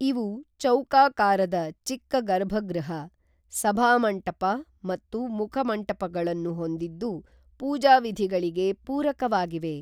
ಇವು ಚೌಕಾಕಾರದ ಚಿಕ್ಕ ಗರ್ಭಗೃಹ, ಸಭಾಮಂಟಪ ಮತ್ತು ಮುಖಮಂಟಪಗಳನ್ನು ಹೊಂದಿದ್ದು ಪೂಜಾ ವಿಧಿಗಳಿಗೆ ಪೂರಕವಾಗಿವೆ.